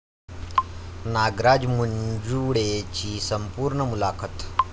नागराज मंजुळेंची संपूर्ण मुलाखत